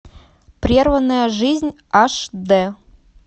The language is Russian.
прерванная жизнь аш д